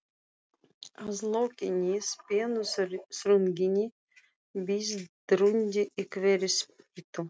Að lokinni spennuþrunginni bið drundi í hverri spýtu.